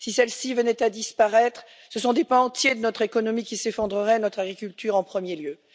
Si celles ci venaient à disparaître, ce sont des pans entiers de notre économie qui s'effondreraient, notre agriculture en premier lieu.